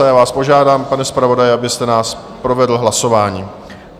A já vás požádám, pane zpravodaji, abyste nás provedl hlasováním.